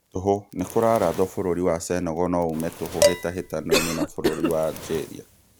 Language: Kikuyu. Tũhũ, nĩkũrarathwo bũrũri wa Senegal noyume tũhũ hĩtahĩtano-inĩ na bũrũri wa Algeria